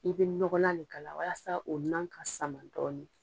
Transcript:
I bɛ nɔgɔlan le k'ala walasa o na ka sama dɔɔnin.